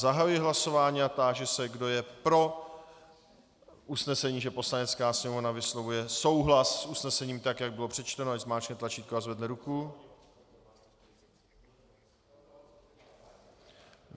Zahajuji hlasování a táži se, kdo je pro usnesení, že Poslanecká sněmovna vyslovuje souhlas s usnesením tak, jak bylo přečteno, ať zmáčkne tlačítko a zvedne ruku.